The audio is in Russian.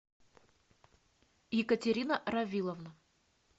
екатерина равиловна